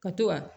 Ka to ka